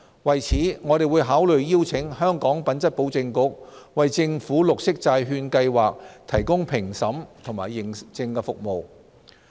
為此，我們會考慮邀請香港品質保證局為政府綠色債券計劃提供評審及認證服務。